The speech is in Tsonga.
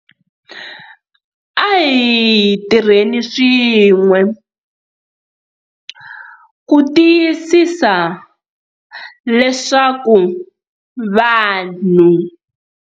A hi tirheni swin'we ku tiyisisa leswaku vanhu.